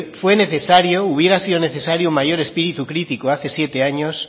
fue necesario hubiera sido necesario mayor espíritu crítico hace siete años